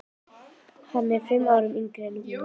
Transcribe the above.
Hann er fimm árum yngri en hún.